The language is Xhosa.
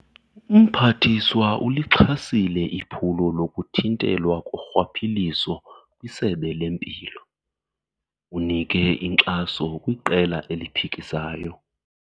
Umphathiswa ulixhasile iphulo lokuthintelwa korhwaphilizo kwisebe lempilo. Unike inkxaso kwiqela eliphikisayo.